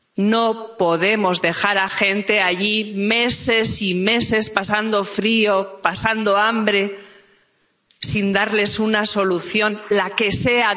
No podemos dejar a gente allí, meses y meses, pasando frío, pasando hambre, sin darles una solución —la que sea—.